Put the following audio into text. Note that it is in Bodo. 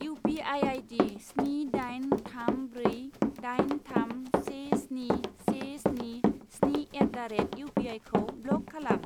इउ पि आइ आइदि स्नि दाइन थाम ब्रै दाइन थाम से स्नि से स्नि स्नि एट दा रेट इउपिआइखौ ब्लक खालाम।